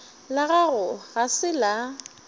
la gago ga se la